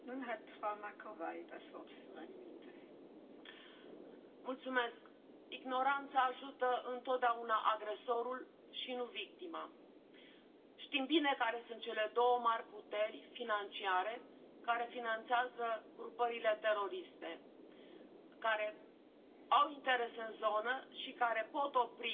Doamnă președintă, ignoranța ajută întotdeauna agresorul, și nu victima. Știm bine care sunt cele două mari puteri financiare care finanțează grupările teroriste care au interese în zonă și care pot opri